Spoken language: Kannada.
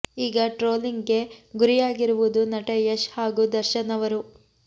ಈಗ ಟ್ರೋಲಿಂಗ್ ಗೆ ಗುರಿಯಾಗಿರುವುದು ನಟ ಯಶ್ ಹಾಗೂ ದರ್ಶನ್ ಅವರು